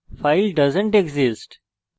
file doesn t exist